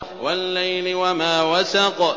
وَاللَّيْلِ وَمَا وَسَقَ